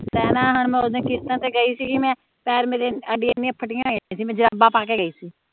ਪਹਿਲਾ ਮੈਂ ਹੀ ਕੀਤਾ ਤੇ ਗਈ ਸੀਗੀ ਮੈਂ ਪੈਰ ਮੇਰੇ ਅਡੀਆ ਏਨੀਆਂ ਫਟੀਆਂ ਹੋਇਆ ਸੀ ਮੈਂ ਜਰਾਬਾਂ ਪਾ ਕੇ ਗਈ ਸੀ